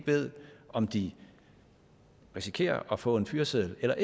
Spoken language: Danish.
ved om de risikerer at få en fyreseddel eller